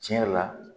Tiɲɛ yɛrɛ la